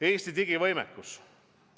Eesti digivõimekus.